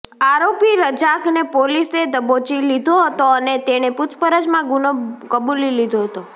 આરોપી રજાકને પોલીસે દબોચી લીધો હતો અને તેણે પૂછપરછમાં ગુનો કબૂલી લીધો હતો